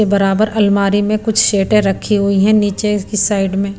के बराबर अलमारी में कुछ शेटें रखी हुई हैं नीचे की साइड में--